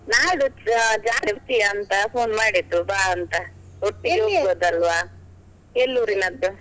ನಾಳ್ದು ಜಾ~ ಜಾತ್ರೆಯಂತ phone ಮಾಡಿದ್ದು ಬಾ ಅಂತ, ಒಟ್ಟಿಗೆ ಎಲ್ಲೂರಿನದ್ದು.